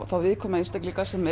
þá viðkvæmu einstaklinga sem